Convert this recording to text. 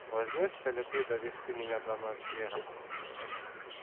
возьмёшься ли ты довести меня до ночлега